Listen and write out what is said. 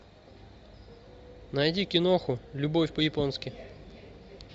найди киноху любовь по японски